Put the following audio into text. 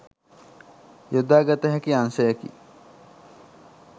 යොදාගත හැකි අංශයකි.